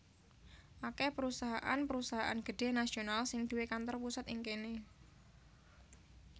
Akèh perusahaan perusahaan gedhé nasional sing duwé kantor pusat ing kéné